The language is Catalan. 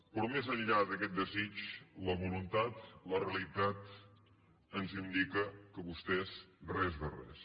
però més enllà d’aquest desig la voluntat la realitat ens indica que vostès res de res